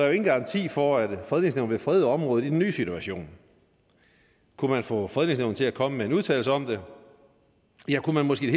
jo ingen garanti for at fredningsnævnet vil frede området i den nye situation kunne man få fredningsnævnet til at komme med en udtalelse om det ja kunne man måske